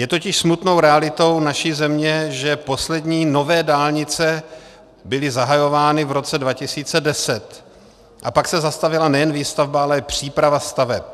Je totiž smutnou realitou naší země, že poslední nové dálnice byly zahajovány v roce 2010 a pak se zastavila nejen výstavba, ale i příprava staveb.